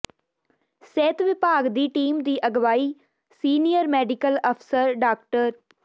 ਸਿਹਤ ਵਿਭਾਗ ਦੀ ਟੀਮ ਦੀ ਅਗਵਾਈ ਸੀਨੀਅਰ ਮੈਡੀਕਲ ਅਫਸਰ ਡਾ